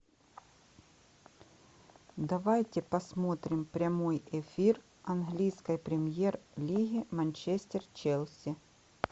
давайте посмотрим прямой эфир английской премьер лиги манчестер челси